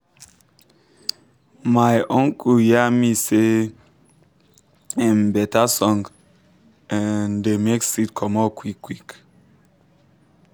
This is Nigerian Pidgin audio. my um uncle yan me say um better song um da make seed comot quick quick